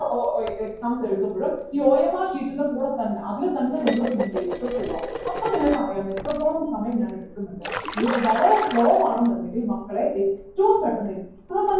ഓ ഓ ഏർ exams എഴുതുമ്പോഴ് ഈ OMR sheet ൻ്റെ കൂടെ തന്നെ അതിൽ തന്നെ നിങ്ങൾ fill ചെയ്തിട്ട് പോവുക അപ്പോ നിങ്ങൾക്ക് അറിയാം എത്രത്തോളം സമയം ഞാൻ എടുക്കുന്നുണ്ട് നിങ്ങൾ വളരെ slow ആണെന്നുണ്ടെങ്കിൽ മക്കളെ ഏറ്റവും പെട്ടെന്ന്